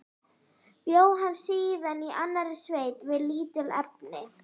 Bjó hann síðan í annarri sveit við lítil efni.